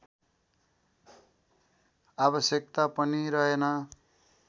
आवश्यकता पनि रहेन।